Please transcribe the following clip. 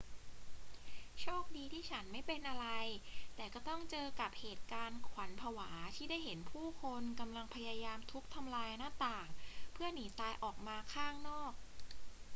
โชคดีที่ฉันไม่เป็นอะไร แต่ก็ต้องเจอกับเหตุการณ์ขวัญผวาที่ได้เห็นผู้คนกำลังพยายามทุบทำลายหน้าต่างเพื่อหนีตายออกมาข้างนอก